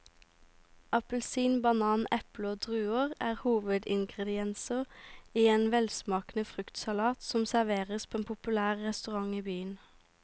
Appelsin, banan, eple og druer er hovedingredienser i en velsmakende fruktsalat som serveres på en populær restaurant i byen.